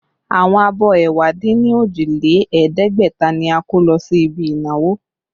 Àwọn abọ́ ẹ̀wá dín ní òjì lé ẹ̀ẹ́dẹ́gbẹ̀ta ni a kó lọ sí ibi ìnáwó